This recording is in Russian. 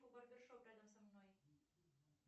барбершоп рядом со мной